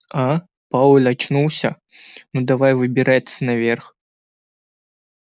а пауэлл очнулся ну давай выбираться наверх